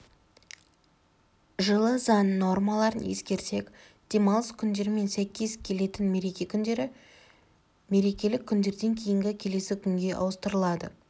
жылы заң нормаларын ескерсек демалыс күндерімен сай келетін мереке күндері мерекелік күндерден кейінгі келесі күнге ауыстырылады